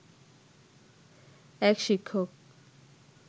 এক শিক্ষক